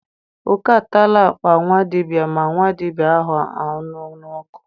Oke atala akpa nwa dibịa ma nwa dibịa ahụla ọnụ n'ọkụ.